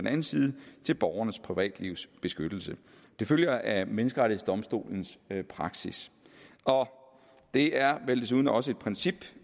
hensynet til borgernes privatlivs beskyttelse det følger af menneskerettighedsdomstolens praksis og det er vel desuden også et princip